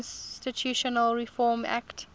constitutional reform act